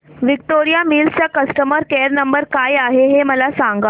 Victoria Mills चा customer care number काय आहे हे मला सांगा